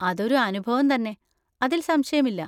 അതൊരു അനുഭവം തന്നെ, അതിൽ സംശയമില്ല.